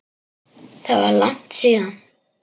Það var langt síðan.